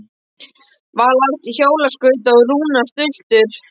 Vala átti hjólaskauta og Rúna stultur.